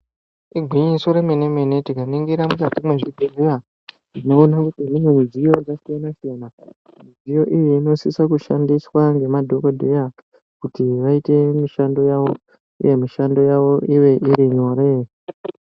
Igwinyiso remene-mene tikaningira mukati mezvibhedhlera tinoona kuti mune mudziyo yakasiyana siyana midziyo iyi inosisa kushandiswa nemadhokodheya kuti vaite mushando yavo uye mishando yavo ive nyore.